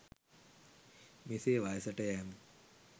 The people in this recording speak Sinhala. මෙසේ වයසට යෑම